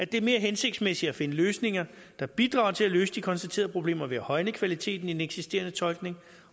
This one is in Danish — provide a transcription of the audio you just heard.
det er mere hensigtsmæssigt at finde løsninger der bidrager til at løse de konstaterede problemer ved at højne kvaliteten i den eksisterende tolkning